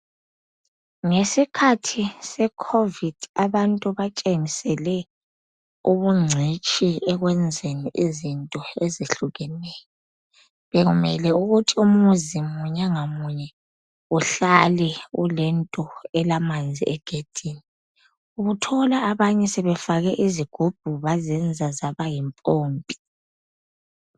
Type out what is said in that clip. Ngesikhathi seCovid abantu batshengisele ubuncitshi ekwenzeni izinto ezehlukeneyo. Bekumele ukuthi umuzi munye ngamunye uhlale kulento elamanzi egedini ubuthola abanye sebefake izigubhu bazenza zaba yimpompi.